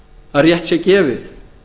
að rétt sé gefið